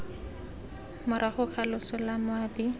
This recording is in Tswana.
morago ga loso la moabi